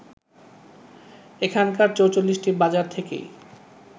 এখানকার ৪৪টি বাজার থেকেই